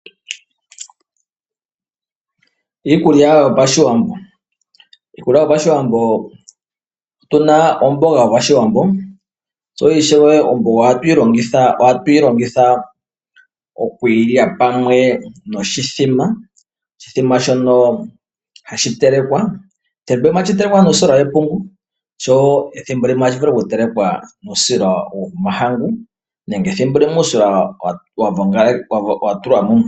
Iikulya yo pashiwambo, iikulyq yo pashiwambo otuna omboga yo pashiwambo omboga ohatu yi longitha okwii lya pamwe noshithima oshithima shono hashi telekwa thimbo limwe ohashi vulu okuliwa nuusila we pungu nenge thimbo limwe ohashi vulu oku telwekwa nuusila womahangu.